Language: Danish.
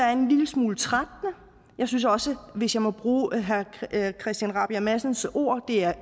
er en lille smule trættende jeg synes også hvis jeg må bruge herre christian rabjerg madsens ord det er